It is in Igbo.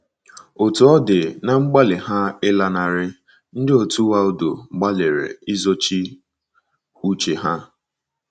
Otú ọ dị, ná mgbalị ha ịlanarị, ndị òtù Waldo gbalịrị izochi uche ha.